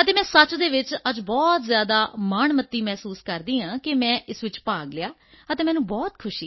ਅਤੇ ਮੈਂ ਸੱਚ ਵਿੱਚ ਅੱਜ ਬਹੁਤ ਜ਼ਿਆਦਾ ਮਾਣਮੱਤੀ ਮਹਿਸੂਸ ਕਰਦੀ ਹਾਂ ਕਿ ਮੈਂ ਇਸ ਵਿੱਚ ਭਾਗ ਲਿਆ ਅਤੇ ਮੈਨੂੰ ਬਹੁਤ ਖੁਸ਼ੀ ਹੈ